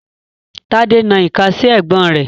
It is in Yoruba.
Tade n na ika si ẹgbon re